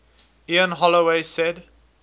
ian holloway said